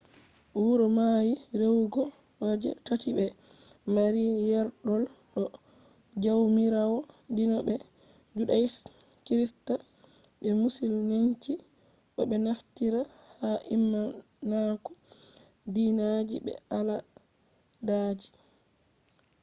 wuro mai rewugo je tati be maari yerdol do jawmirawo dina be-judaism, kirista be musulinci bo be naftira ha imanaku dinaji be aladaji